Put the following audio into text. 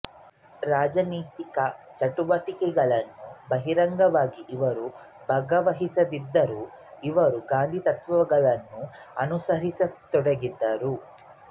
ರಾಜನೀತಿಕ ಚಟುವಟಿಕೆಗಳಲ್ಲಿ ಬಹಿರಂಗವಾಗಿ ಇವರು ಭಾಗವಹಿಸದಿದ್ದರೂ ಇವರು ಗಾಂಧಿ ತತ್ವಗಳನ್ನು ಅನುಸರಿಸತೊಡಗಿದರು